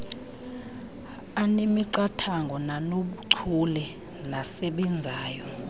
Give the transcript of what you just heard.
anemiqathango nanobuchule nasebenzayo